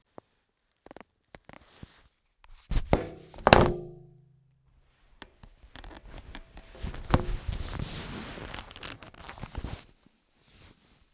Svona er Ísland.